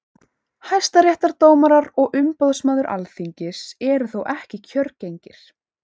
hæstaréttardómarar og umboðsmaður alþingis eru þó ekki kjörgengir